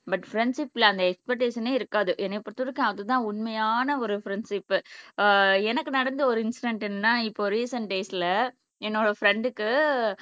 but ஃப்ரெண்ட்ஷிப்ல அந்த எக்ஸ்பெக்டேஷன்னே இருக்காது என்னைய பொறுத்த வரைக்கும் அது தான் உண்மையான ஒரு ஃப்ரெண்ட்ஷிப் எனக்கு நடந்த ஒரு இன்ஸிடன்ட் என்னன்னா இப்போ ரீசண்டேஸ்ல என்னோட ஃப்ரண்டுக்கு